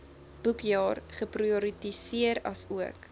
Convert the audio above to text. boekjaar geprioritiseer asook